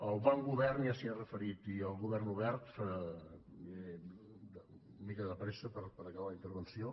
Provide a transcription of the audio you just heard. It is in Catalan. al bon govern ja s’hi ha referit i al govern obert aniré una mica de pressa per acabar la intervenció